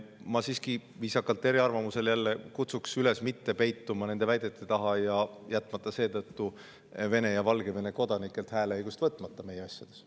Ma siiski – viisakalt eriarvamusel jälle – kutsun üles mitte peituma nende väidete taha ja jätma seetõttu Vene ja Valgevene kodanikelt hääleõigust võtmata meie.